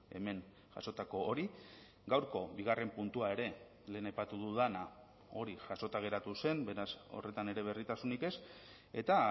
hemen jasotako hori gaurko bigarren puntua ere lehen aipatu dudana hori jasota geratu zen beraz horretan ere berritasunik ez eta